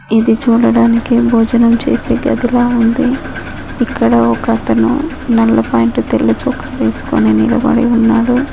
ఇది చూడడానికే భోజనం చేసే గదిలా ఉంది ఇక్కడ ఒక అతను నల్ల ప్యాంటు తెల్ల చొక్కా వేసుకొని నిలబడి ఉన్నాడు.